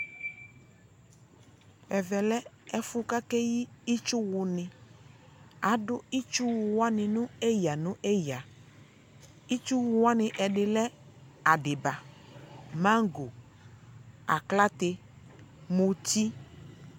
ɛvɛ lɛ ɛfo ko akeyi itsuwo ni, ado itsuwo wani no eya no eya itsuwo wani edi lɛ adiba, maŋgo, aklate, muti